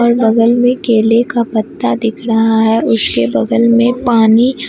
और बगल में केले का पत्ता दिख रहा है उसके बगल में पानी--